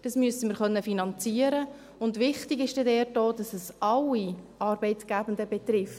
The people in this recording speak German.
Das müssen wir finanzieren können, und wichtig ist dort auch, dass es alle Arbeitgebenden betrifft.